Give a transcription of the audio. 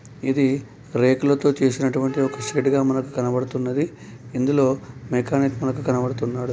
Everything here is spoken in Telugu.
ఇధి రేకుల తో చేసినటువంటి ఒక షెడ్ గ మనకు కనబడుతున్నది ఇందులో మెకానిక్ మనకు కనబడుతున్నాడు .